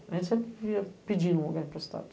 A gente sempre ia pedindo um lugar emprestado.